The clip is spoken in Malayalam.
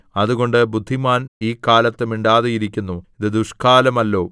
അതുകൊണ്ട് ബുദ്ധിമാൻ ഈ കാലത്ത് മിണ്ടാതിരിക്കുന്നു ഇത് ദുഷ്ക്കാലമല്ലോ